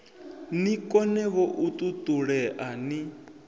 ni konevho u ṱuṱulea ni